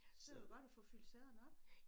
Så det godt at få fyldt sæderne op